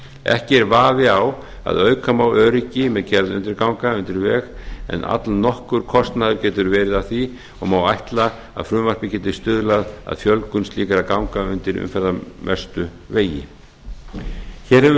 ekki er vafi á að auka má öryggi með gerð undirganga undir veg en allnokkur kostnaður getur verið af því og má ætla að frumvarpið geti stuðlað að fjölgun slíkra ganga undir umferðarmestu vegi hér hefur